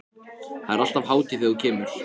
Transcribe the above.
Það er alltaf hátíð þegar þú kemur.